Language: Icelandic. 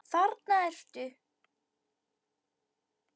Þarna ertu!